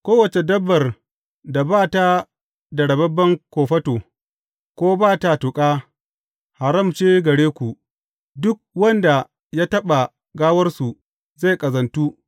Kowace dabbar da ba ta da rababben kofato ko ba ta tuƙa, haram ce gare ku; duk wanda ya taɓa gawarsu zai ƙazantu.